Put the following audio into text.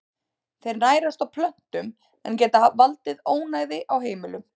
Þeir nærast á plöntum en geta valdið ónæði á heimilum.